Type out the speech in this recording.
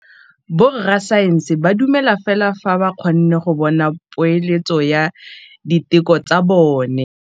Borra saense ba dumela fela fa ba kgonne go bona poeletsô ya diteko tsa bone.